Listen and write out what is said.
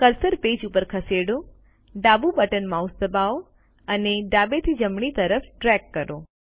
cursor page ઉપર ખસેડો ડાબું બટન માઉસ દબાવો અને ડાબેથી જમણી તરફ ડ્રેગ કરો